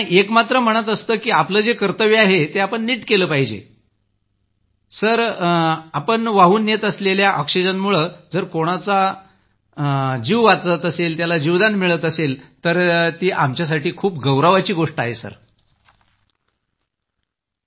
एकमात्र मनात असतं की आपलं जे कर्तव्य आहे ते नीट केलं म्हणजे जर आपण वाहून नेत असलेल्या ऑक्सिजनमुळं जर कोणाला जीवन मिळणार आहे तर ती आमच्यासाठी खूप गौरवाची गोष्ट असते